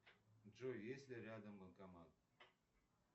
джой есть ли рядом банкомат